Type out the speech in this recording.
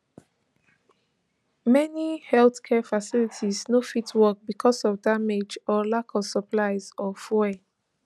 many healthcare facilities no fit work bicos of damage or lack of supplies or fuel